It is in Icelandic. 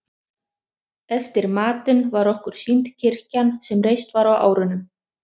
Eftir matinn var okkur sýnd kirkjan sem reist var á árunum